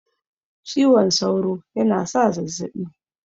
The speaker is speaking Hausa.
Ciwon sauro yana sa zazzabi